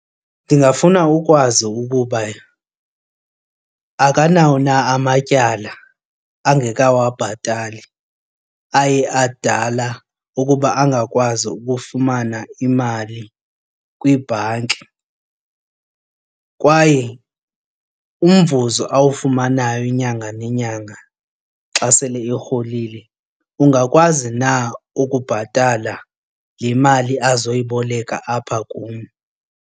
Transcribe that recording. Ndingafuna ukwazi ukuba akanawo na amatyala angeka wabhatali aye adala ukuba angakwazi ukufumana imali kwibhanki kwaye umvuzo awufumanayo inyanga nenyanga xa sele erholile ungakwazi na ukubhatala le mali azoyiboleka apha kum.